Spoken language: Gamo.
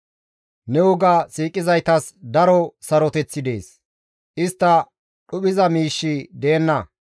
Ne woga siiqizaytas daro saroteththi dees; istta dhuphiza miishshi deenna.